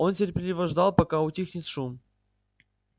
он терпеливо ждал пока утихнет шум